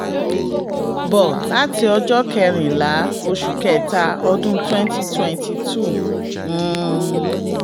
• bọ̀ láti ọjọ́ kẹrìnlá oṣù kẹta ọdún twenty twenty two um